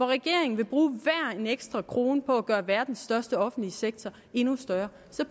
regeringen vil bruge enhver ekstra krone på at gøre verdens største offentlige sektor endnu større